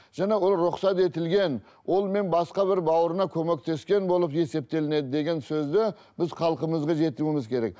жаңағы рұқсат етілген онымен басқа бір бауырына көмектескен болып есептелінеді деген сөзді біз халқымызға жеткізуіміз керек